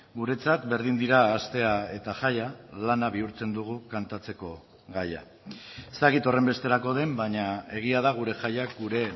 guretzat berdin dira astea eta jaia lana bihurtzen dugu kantatzeko gaia ez dakit horrenbesterako den baina egia da gure jaiak gure